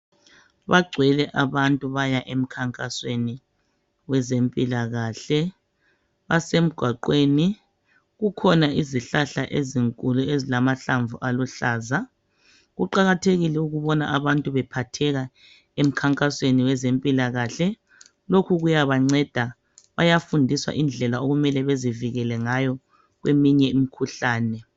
Bagcwele abantu baya emkhankasweni wezempilakahle basemgwaqweni kukhona izihlahla ezinkulu ezilamahlamvu aluhlaza Kuqakathekile ukubona abantu bephatheka emkhankasweni wezempilakahle lokhu kuyabanceda bayafundiswa indlela okumele bazivikele ngayo kweminye imikhuhlane.